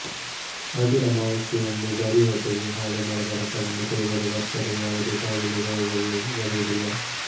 ಅತಿ ಅಮಾವಾಸ್ಯೆಯಂದು ಬರಿ ಹೊಟ್ಟೆಗೆ ಹಾಲೆಮರದ ರಸವನ್ನು ಕುಡಿದರೆ ವರ್ಷದ ಯಾವುದೇ ಕಾಲದಲ್ಲಿ ರೋಗಗಳು ಬರುವುದಿಲ್ಲ